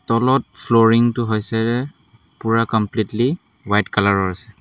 তলত ফ্ল'ৰিং টো হৈছে পুৰা কমপ্লিটলি হোৱাইট কালাৰ ৰ আছে।